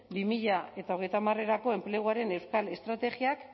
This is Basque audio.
bi mila hogeita hamarrerako enpleguaren euskal estrategiak